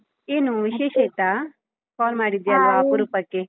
ಏನು ವಿಶೇಷ ಇತ್ತಾ? call ಮಾಡಿದ್ಯಲ್ವಾ ಅಪರೂಪಕ್ಕೆ?